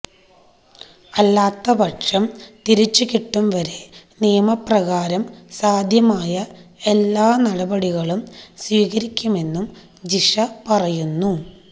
അല്ലാത്ത പക്ഷം തിരിച്ചുകിട്ടുംവരെ നിയമപ്രകാരം സാധ്യമായ എല്ലാ നടപടികളും സ്വീകരിക്കുമെന്നും ജിഷ പറയുന്നു